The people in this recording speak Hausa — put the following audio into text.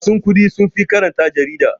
Masu kuɗi sunfi karanta jarida.